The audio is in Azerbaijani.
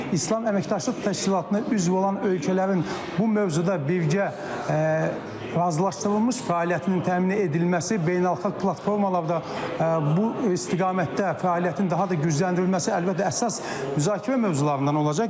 İslam Əməkdaşlıq Təşkilatına üzv olan ölkələrin bu mövzuda birgə razılaşdırılmış fəaliyyətinin təmin edilməsi, beynəlxalq platformalarda bu istiqamətdə fəaliyyətin daha da gücləndirilməsi əlbəttə əsas müzakirə mövzularından olacaq.